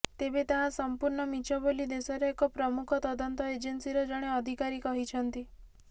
ତେବେ ତାହା ସମ୍ପୂର୍ଣ୍ଣ ମିଛ ବୋଲି ଦେଶର ଏକ ପ୍ରମୁଖ ତଦନ୍ତ ଏଜେନ୍ସିର ଜଣେ ଅଧିକାରୀ କହିଛନ୍ତି